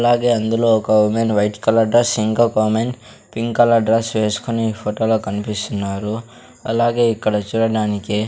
అలాగే అందులో ఒక వుమెన్ వైట్ కలర్ డ్రెస్ ఇంకో వుమెన్ పింక్ కలర్ డ్రెస్ వేసుకుని ఫోటోలో కనిపిస్తున్నారు అలాగే ఇక్కడ చూడడానికి.